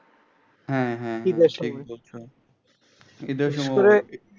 হ্যাঁ হ্যাঁ হ্যাঁ ঈদের সময়